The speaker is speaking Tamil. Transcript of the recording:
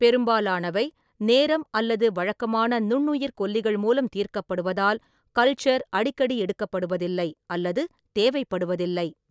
பெரும்பாலானவை, நேரம் அல்லது வழக்கமான நுண்ணுயிர்க்கொல்லிகள் மூலம் தீர்க்கப்படுவதால், கல்ச்சர் அடிக்கடி எடுக்கப்படுவதில்லை அல்லது தேவைப்படுவதில்லை.